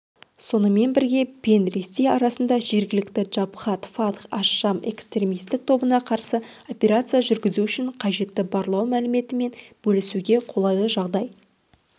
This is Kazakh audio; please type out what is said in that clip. сонымен бірге пен ресей арасында жергілікті джабхат фатх аш-шам экстремистік тобына қарсы операция жүргізу үшін қажетті барлау мәліметімен бөлісуге қолайлы жағдай